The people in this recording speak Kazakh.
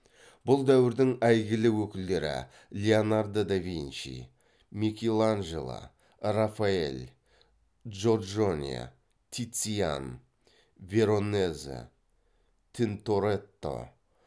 бұл дәуірдің әйгілі өкілдері леонардо да винчи микеланджело рафаэль джорджоне тициан веронезе тинторетто